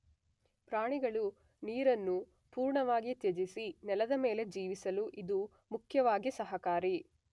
ಪ್ರಾಣಿಗಳು ನೀರನ್ನು ಪೂರ್ಣವಾಗಿ ತ್ಯಜಿಸಿ ನೆಲದ ಮೇಲೆ ಜೀವಿಸಲು ಇದು ಮುಖ್ಯವಾಗಿ ಸಹಕಾರಿ.